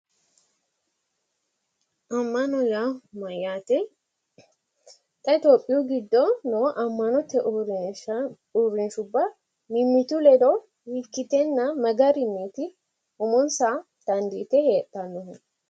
Ammana yaa mayyaate? Xa itiyophiyu giddo noo ammanote uurrinshubba mimmitu ledo hiikkitenna ma garinniiti umonsa dandiite heedhannohu?